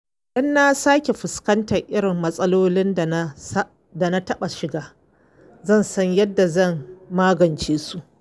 Idan na sake fuskantar irin matsalolin da na taɓa shiga, zan san yadda zan magance su.